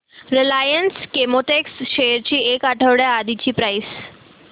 Reliance Chemotex shares ची एक आठवड्या आधीची प्राइस